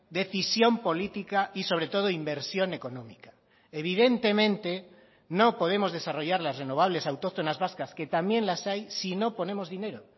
decisión política y sobretodo inversión económica evidentemente no podemos desarrollar las renovables autóctonas vascas que también las hay si no ponemos dinero